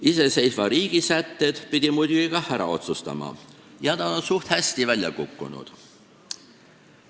Iseseisva riigi sätted pidi muidugi kah ära otsustama ja nad on suht hästi välja kukkunud.